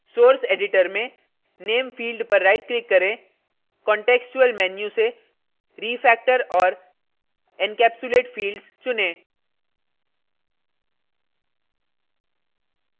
source editor में name field पर right click करें contextual menu से refactor और encapsulate fields चुनें